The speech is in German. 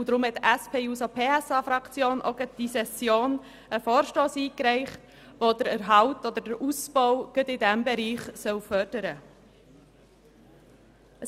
Deshalb hat die SP-JUSO-PSA-Fraktion in dieser Session einen Vorstoss eingereicht, der den Erhalt und den Ausbau dieses Bereichs fördern will.